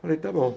Falei, tá bom.